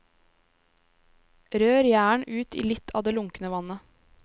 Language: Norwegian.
Rør gjæren ut i litt av det lunkne vannet.